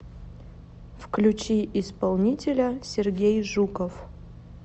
включи исполнителя сергей жуков